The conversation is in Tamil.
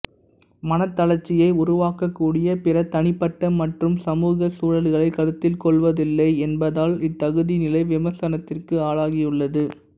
மனத் தளர்ச்சியை உருவாக்கக் கூடிய பிற தனிப்பட்ட மற்றும் சமூகச் சூழல்களைக் கருத்தில் கொள்வதில்லை என்பதால் இத்தகுதிநிலை விமர்சனத்திற்கு ஆளகியுள்ளது